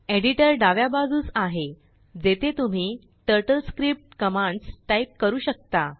Editorडाव्या बाजूसआहे जेथे तुम्हीTurtleScriptकमांड्स टाईप करू शकता